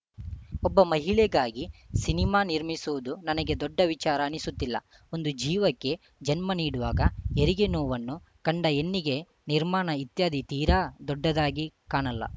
ಒಬ್ಬ ಮಹಿಳೆಗಾಗಿ ಸಿನಿಮಾ ನಿರ್ಮಿಸುವುದು ನನಗೆ ದೊಡ್ಡ ವಿಚಾರ ಅನಿಸುತ್ತಿಲ್ಲ ಒಂದು ಜೀವಕ್ಕೆ ಜನ್ಮ ನೀಡುವಾಗ ಹೆರಿಗೆ ನೋವನ್ನು ಕಂಡ ಹೆಣ್ಣಿಗೆ ನಿರ್ಮಾಣ ಇತ್ಯಾದಿ ತೀರಾ ದೊಡ್ಡದಾಗಿ ಕಾಣಲ್ಲ